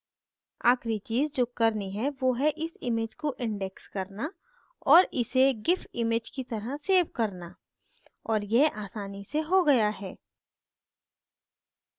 आखिरी चीज़ जो करनी है वो है इस image को index करना और इसे gif image की तरह सेव करना और यह आसानी से हो गया है